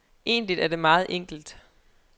Egentlig er det meget enkelt.